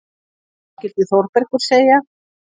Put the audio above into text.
Hvað skyldi Þórbergur segja?